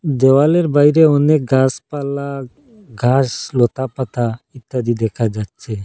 দেওয়ালের বাইরে অনেক গাসপালা ঘাস লতাপাতা ইত্যাদি দেখা যাচ্ছে।